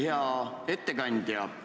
Hea ettekandja!